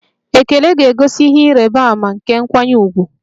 Ekele ga-egosi ihe ịrịba ama nke nkwanye ùgwù.